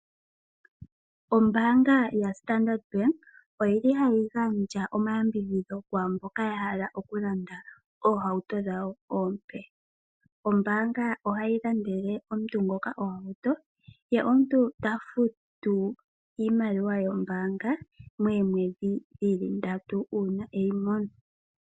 Ombaanga yaStandard bank oyili hayi gandja omayambidhidho kwaamboka ya hala okulanda oohauto dhawo oompe. Ombaanga ohayi landele omuntu ngoka ohauto, ye omuntu ta futu iimaliwa yombaanga moomweedhi dhili ndatu uuna eyi mono.